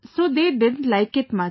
So they didn't like it much